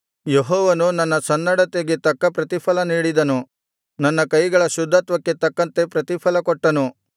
ಯೆಹೋವನು ನನ್ನ ಸನ್ನಡತೆಗೆ ತಕ್ಕ ಪ್ರತಿಫಲ ನೀಡಿದನು ನನ್ನ ಕೈಗಳ ಶುದ್ಧತ್ವಕ್ಕೆ ತಕ್ಕಂತೆ ಪ್ರತಿಫಲಕೊಟ್ಟನು